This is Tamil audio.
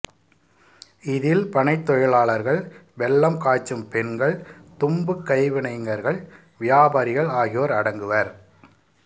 இதில் பனைத் தொழிலாளர்கள் வெல்லம் காய்ச்சும் பெண்கள் தும்புக் கைவினைஞர்கள் வியாபாரிகள் ஆகியோர் அடங்குவர்